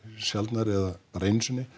sjaldnar eða einu sinni